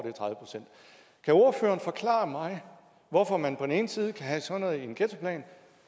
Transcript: er tredive procent kan ordføreren forklare mig hvorfor man på den ene side kan have sådan noget i en ghettoplan